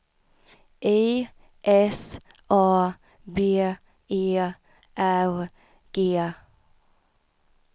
I S A B E R G